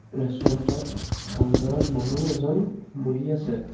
ৰেষ্টুৰেন্তত কাউন্তাৰত মানুহ এজন বহি আছে।